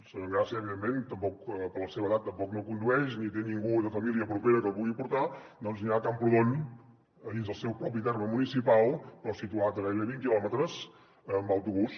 la senyora engràcia evidentment per la seva edat tampoc no condueix ni té ningú de família propera que la pugui portar doncs anirà a camprodon dins el seu propi terme municipal però situat a gairebé vint quilòmetres en autobús